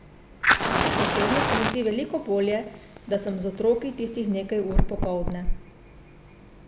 Osebno se mi zdi veliko bolje, da sem z otroki tistih nekaj ur popoldne.